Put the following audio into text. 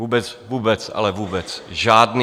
Vůbec, vůbec, ale vůbec žádný.